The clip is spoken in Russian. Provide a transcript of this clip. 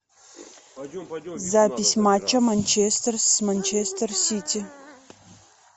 запись матча манчестер с манчестер сити